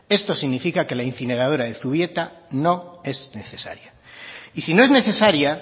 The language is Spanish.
esto significa que la incineradora de zubieta no es necesaria y si no es necesaria